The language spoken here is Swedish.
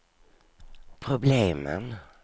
problemen